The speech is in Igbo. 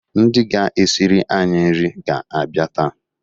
Ndị ga-esiri anyị nri ga-abịa taa.